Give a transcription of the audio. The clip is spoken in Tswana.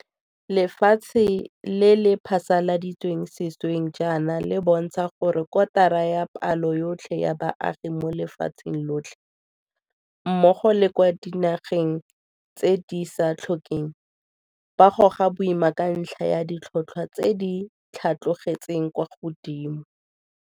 Lefatshe le le phasaladitsweng sešweng jaana le bontsha gore kotara ya palo yotlhe ya baagi mo lefatsheng lotlhe, mmogo le kwa dinageng tse di sa tlhokeng, ba goga boima ka ntlha ya ditlhotlhwa tse di tlhatlogetseng kwa godimo.